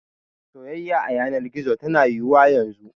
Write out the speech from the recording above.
Soyayya a yanar gizo tana yiwuwa yanzu.